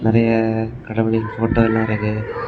நெறைய கடவுளின் ஃபோட்டோ எல்லாம் இருக்கு.